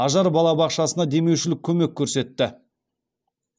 ажар балабақшасына демеушілік көмек көрсетті